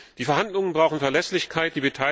Die Verhandlungen brauchen Verlässlichkeit.